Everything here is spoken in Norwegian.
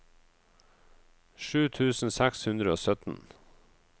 sju tusen seks hundre og sytten